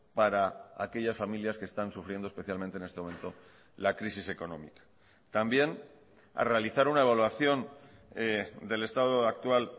para aquellas familias que están sufriendo especialmente en este momento la crisis económica también a realizar una evaluación del estado actual